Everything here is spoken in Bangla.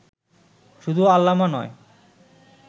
শুধু আল্লামা নয়